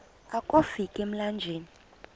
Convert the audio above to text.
akofi ka emlanjeni